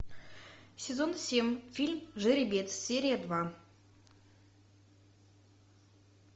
сезон семь фильм жеребец серия два